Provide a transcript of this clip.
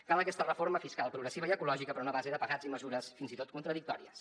cal aquesta reforma fiscal progressiva i ecològica però no a base de pegats i mesures fins i tot contradictòries